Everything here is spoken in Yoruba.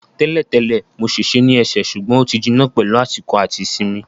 Tẹ́lẹ̀ tẹ́lẹ̀, mo ṣèṣe ní ẹsẹ̀ ṣùgbọ́n ó ti jiná pẹ̀lú àsìkò àti ìsinmi